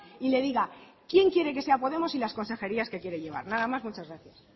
y le diga quién quiere que sea podemos y las consejerías que quiere llevar nada más muchas gracias